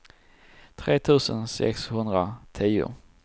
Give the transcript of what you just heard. tre tusen sexhundratio